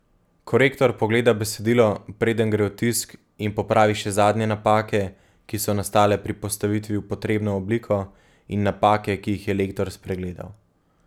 Korektor pogleda besedilo, preden gre v tisk, in popravi še zadnje napake, ki so nastale pri postavitvi v potrebno obliko, in napake, ki jih je lektor spregledal.